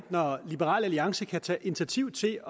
når liberal alliance kan tage initiativ til at